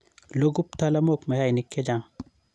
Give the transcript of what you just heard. Loku ptalamook mayainik chechang